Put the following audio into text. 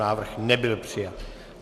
Návrh nebyl přijat.